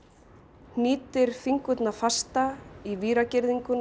hnýtir fingurna fasta í